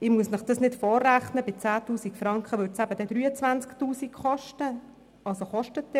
Ich muss Ihnen das nicht vorrechnen, aber bei 10 000 Franken kostet es dann eben 23 000 Franken.